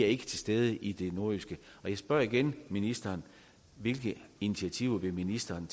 er til stede i det nordjyske jeg spørger igen ministeren hvilke initiativer vil ministeren